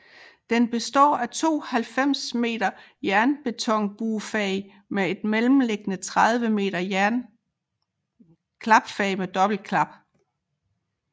Den består af to 90 m jernbetonbuefag med et mellemliggende 30 m klapfag med dobbeltklap